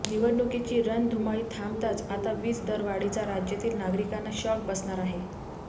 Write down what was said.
निवडणुकीची रणधुमाळी थांबताच आता वीज दरवाढीचा राज्यातील नागरिकांना शॉक बसणार आहे